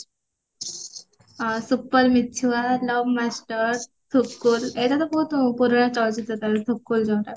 supper ମିଛୁଆ love master ଥୁକୁଲ ଏଇଟା ତ ବହୁତ ପୁରୁଣା ଚଳଚିତ୍ର ତାର ଥୁକୁଲ ଯୋଉଟା